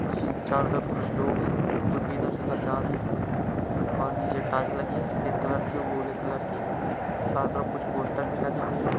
जी चारों तरफ कुछ लोग हैं जो की इधर से उधर जा रहे है और निचे टाइल्स लगी है सफेद कलर की और भूरे कलर की चारो तरफ कुछ पोस्टर भी लगे हुए है।